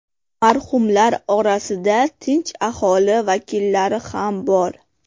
Marhumlar orasida tinch aholi vakillari ham bor.